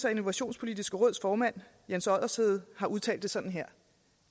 og innovationspolitiske råds formand jens oddershede har udtalt det sådan her